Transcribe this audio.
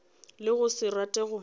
le go se rate go